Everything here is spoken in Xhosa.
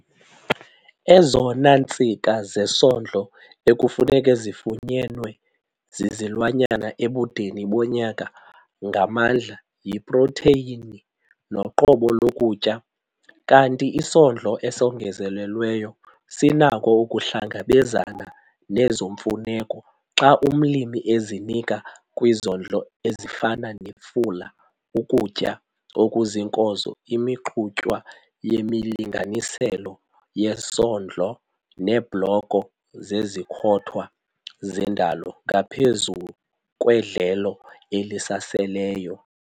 Ezona ntsika zesondlo ekufuneka zifunyenwe zizilwanyana ebudeni bonyaka ngamandla, yiprotheyini noqobo lokutya kanti isondlo esongezelelweyo sinako ukuhlangabezana nezo mfuneko xa umlimi ezinika kwizondlo ezifana nefula, ukutya okuziinkozo, imixutywa yemilinganiselo yesondlo neebhloko zezikhothwa zendalo ngaphezu kwedlelo elisaseleyo.